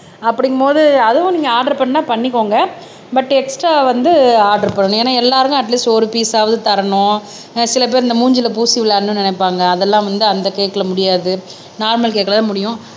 அப்படிங்கும்போது அதுவும் நீங்க ஆர்டர் பண்ணா பண்ணிக்கோங்க பட் எக்ஸ்ட்ரா வந்து ஆர்டர் பண்ணணும் ஏன்னா எல்லாருமே அட் லீஸ்ட் ஒரு பீஸ் ஆவது தரணும் சில பேர் இந்த மூஞ்சியில பூசி விளையாடணும்ன்னு நினைப்பாங்க அதெல்லாம் வந்து அந்த கேக்ல முடியாது நார்மல் கேக்ல தான் முடியும்